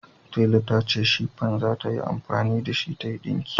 Tela ta ce shifan za ta yi amfani da shi tayi dinki